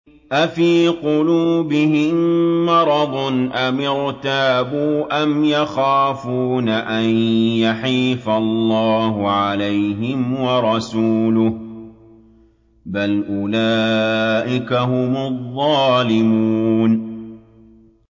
أَفِي قُلُوبِهِم مَّرَضٌ أَمِ ارْتَابُوا أَمْ يَخَافُونَ أَن يَحِيفَ اللَّهُ عَلَيْهِمْ وَرَسُولُهُ ۚ بَلْ أُولَٰئِكَ هُمُ الظَّالِمُونَ